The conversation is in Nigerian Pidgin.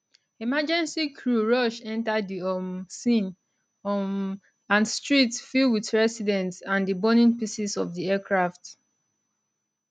emergency crew rush enta di um scene um and streets fill wit residents and di burning pieces of di aircraft